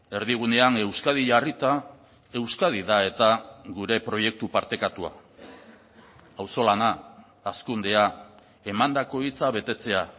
erdigunean euskadi jarrita euskadi da eta gure proiektu partekatua auzolana hazkundea emandako hitza betetzea